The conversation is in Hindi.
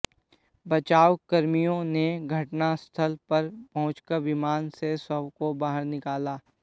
बचावकर्मियों ने घटनास्थल पर पहुंचकर विमान से शवों को बाहर निकाला